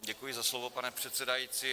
Děkuji za slovo, pane předsedající.